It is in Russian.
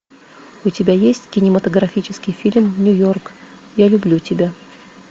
у тебя есть кинематографический фильм нью йорк я люблю тебя